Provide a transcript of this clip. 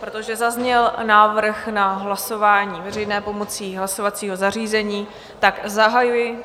Protože zazněl návrh na hlasování veřejné pomocí hlasovacího zařízení, tak zahajuji...